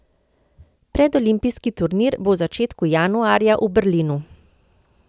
Predolimpijski turnir bo v začetku januarja v Berlinu.